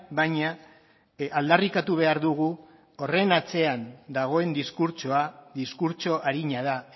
baina aldarrikatu behar dugu horren atzean dagoen diskurtsoa diskurtso arina da